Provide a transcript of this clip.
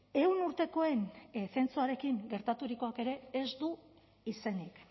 ehun urtekoen zentzuarekin gertaturikoak ere ez du izenik